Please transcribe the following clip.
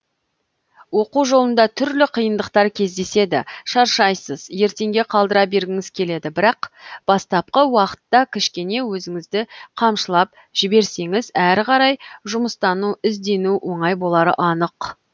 оқу жолында түрлі қиындықтар кездеседі шаршайсыз ертеңге қалдыра бергіңіз келеді бірақ бастапқы уақытта кішкене өзіңізді қамшылап жіберсеңіз әрі қарай жұмыстану іздену оңай болары анық